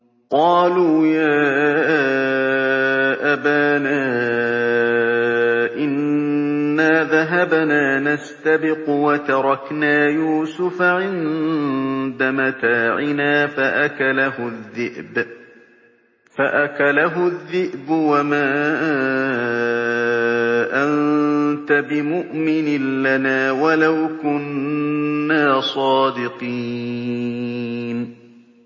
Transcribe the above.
قَالُوا يَا أَبَانَا إِنَّا ذَهَبْنَا نَسْتَبِقُ وَتَرَكْنَا يُوسُفَ عِندَ مَتَاعِنَا فَأَكَلَهُ الذِّئْبُ ۖ وَمَا أَنتَ بِمُؤْمِنٍ لَّنَا وَلَوْ كُنَّا صَادِقِينَ